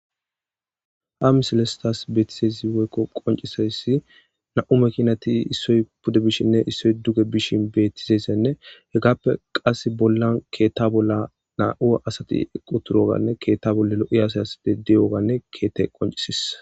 Ha miselestas beetizeysi woykko qoncisayssi na7u mekinati issoy pude bishinne issoy duge bishin bettizeyssenne hegaappe qasse bollan keetta bolla naa7ua asati equ turoganne keetta bolle lo7i asayasde deyoganne keettey qoncisis